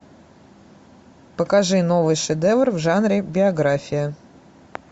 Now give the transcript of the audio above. покажи новый шедевр в жанре биография